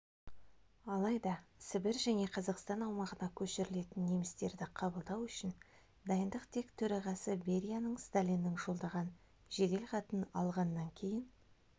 алайда сібір және қазақстан аумағына көшірілетін немістерді қабылдау үшін дайындық тек төрағасы берияның сталиннің жолдаған жеделхатын алғаннан кейін